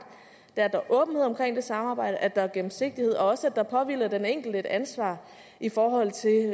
er at der er åbenhed omkring det samarbejde at der er gennemsigtighed og også at der påhviler den enkelte et ansvar i forhold til